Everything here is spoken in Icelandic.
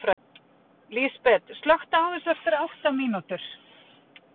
Lísbet, slökktu á þessu eftir átta mínútur.